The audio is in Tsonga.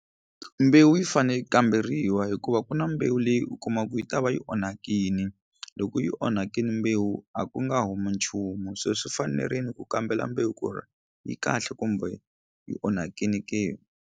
Mbewu yi fane yi kamberiwa hikuva ku na mbewu leyi u kumaka ku yi ta va yi onhakile loko yi onhakile mbewu a ku nga humi nchumu se swi fanerile ku kambela mbewu ku ri yi kahle kumbe yi onhakile ke.